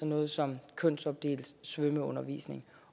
noget som kønsopdelt svømmeundervisning